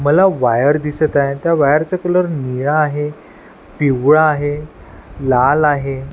मला वायर दिसत आहे त्या वायर चा कलर निळा आहे पिवळा आहे लाल आहे.